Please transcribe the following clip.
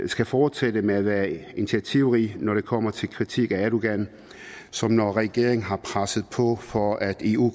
skal fortsætte med at være initiativrig når det kommer til kritik af erdogan som når regeringen har presset på for at eu